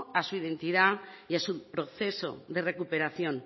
a su identidad y a su proceso de recuperación